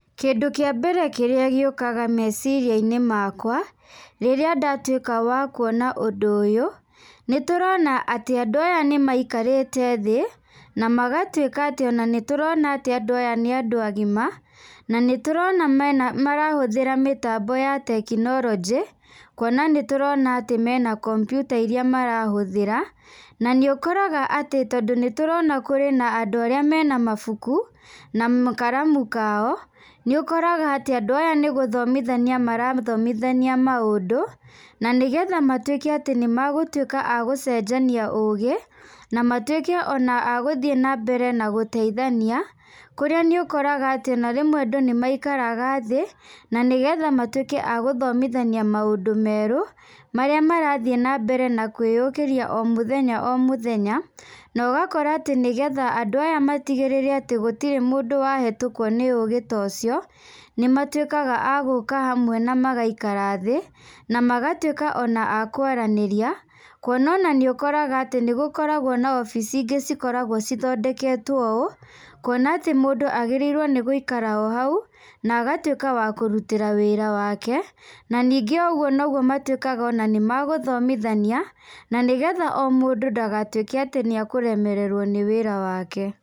Kĩndũ kĩa mbere kĩrĩa gĩũkaga meciria-inĩ makwa rĩrĩa ndatuĩka wa kuona ũndũ ũyũ, nĩ tũrona atĩ andũ aya nĩ maikarĩte thĩ na magatuĩka atĩ ona nĩ tũrona atĩ andũ aya nĩ andũ agima. Na nĩ tũrona marahũthĩra mĩtambo ya tekinoronjĩ, kuona nĩ tũrona atĩ mena kompiuta irĩa marahũthĩra. Na nĩ ũkoraga atĩ tondũ nĩ tũrona kũrĩ na andũ arĩa mena mabuku na karamu kao, nĩ ũkoraga atĩ andũ aya nĩ gũthomithania marathomithania maũndũ. Na nĩgetha matuĩke atĩ nĩ magũtuĩka a gũcenjia ũgĩ na matuĩke ona a gũthiĩ na mbere na gũteithania. Kũrĩa nĩ ũkoraga atĩ ona rĩmwe andũ nĩ maikaraga thĩ na nĩgetha matuĩke a gũthomithania maũndũ merũ, marĩa marathiĩ na mbere na kwĩyũkĩria o mũthenya o mũthenya. Na ũgakora atĩ nĩgetha andũ aya matigĩrĩre atĩ gũtirĩ mũndũ wahĩtũkwo nĩ ũgĩ ta ũcio, nĩ matuĩkaga a gũũka hamwe na magaikara thĩ na magatuĩka ona a kwaranĩria. Kuona atĩ nĩ ũkoraga atĩ nĩ gũkoragwo na wabici ingĩ cikoragwo cithondeketwo ũũ, kuona atĩ mũndũ agĩrĩirwo nĩ gũikara o hau na agatuĩka wa kũrutĩra wĩra wake. Na ningĩ o ũguo nĩguo matuĩkaga nĩ magũthomithania, na nĩgetha o mũndũ ndagatuĩke atĩ nĩ ekũremererwo nĩ wĩra wake.